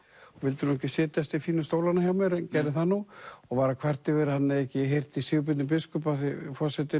og vildi nú ekki setjast í fínu stólana hjá mér en gerði það nú og var að kvarta yfir að hann hefði ekki heyrt í Sigurbirni biskup og forseti